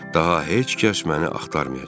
Daha heç kəs məni axtarmayacaq.